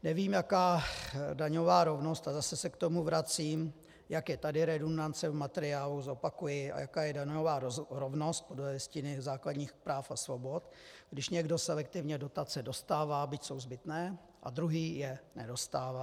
Nevím, jaká daňová rovnost - a zase se k tomu vracím, jak je tady redundance v materiálu, zopakuji, a jaká je daňová rovnost podle Listiny základních práv a svobod, když někdo selektivně dotace dostává, byť jsou zbytné, a druhý je nedostává.